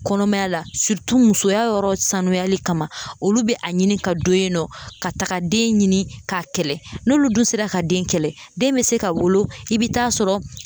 Kɔnɔmaya la musoya yɔrɔ sanuyali kama ,olu bɛ a ɲini ka don yen nɔ ka taga den ɲini k'a kɛlɛ, n'olu dun sera ka den kɛlɛ , den bɛ se ka wolo i bɛ taa sɔrɔ